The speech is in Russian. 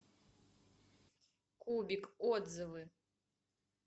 кубик отзывы